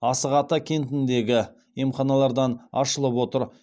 асық ата кентіндегі емханалардан ашылып отыр